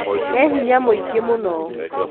ena hinya mũingĩ mũno